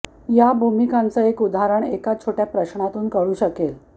या भूमिकांचं एक उदाहरण एका छोट्या प्रश्नातून कळू शकेल